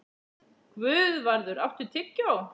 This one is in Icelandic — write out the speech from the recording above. Guðvarður, áttu tyggjó?